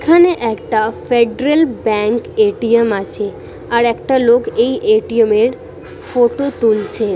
এখানে একটা federal bank ATM আছে আর একটা লোক এই এ.টি.এম এর ফটো তুলছে।